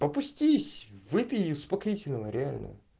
опустись выпей успокоительного реально